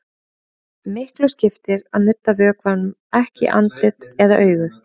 Miklu skiptir að nudda vökvanum ekki í andlit eða augu.